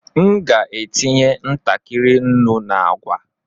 M ga-etinye ntakịrị nnu na agwa.